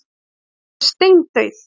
Hún er alveg steindauð!